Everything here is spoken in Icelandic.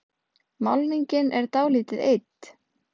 Málningin er dálítið eydd.